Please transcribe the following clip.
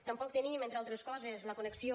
tampoc tenim entre altres coses la connexió